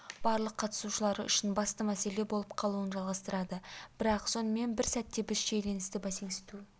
барлық қатысушылары үшін басты мәселе болып қалуын жалғастырады бірақ сонымен бір сәтте біз шиеленісті бәсеңсіту